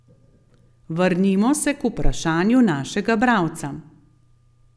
Vrnimo se k vprašanju našega bralca.